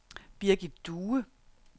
Birgit Due